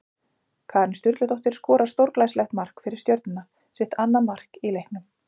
Karen Sturludóttir skorar stórglæsilegt mark fyrir Stjörnuna, sitt annað mark í leiknum!